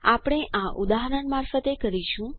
આપણે આ ઉદાહરણ મારફતે કરીશું